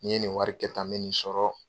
Ni n ye nin wari kɛ tan n bɛ nin sɔrɔ.